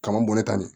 Kama bɔ ne ta nin